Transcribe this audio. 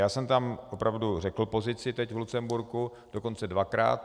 Já jsem tam opravdu řekl pozici teď v Lucemburku, dokonce dvakrát.